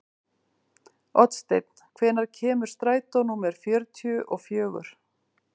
Oddsteinn, hvenær kemur strætó númer fjörutíu og fjögur?